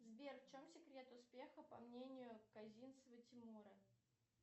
сбер в чем секрет успеха по мнению казинцева тимура